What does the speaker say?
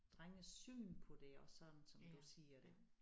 Drenges syn på det og sådan som du siger det